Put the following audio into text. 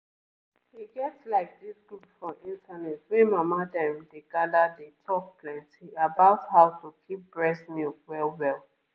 e get like this group for internet wey mama dem dey gather dey talk plenty about how to keep breast milk well well.